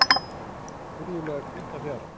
Furðulega hvíta fjara.